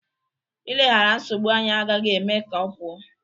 Ileghara nsogbu anya agaghị eme ka ọ pụọ.